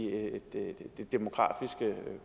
det demografiske